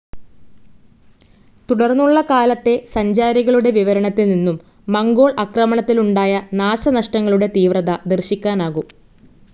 തുടർന്നുള്ള കാലത്തെ സഞ്ചാരികളുടെ വിവരണത്തിൽ നിന്നും മംഗോൾ ആക്രമണത്തിലുണ്ടായ നാശനഷ്ടങ്ങളുടെ തീവ്രത ദർശിക്കാനാകും.